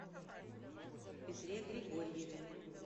петре григорьеве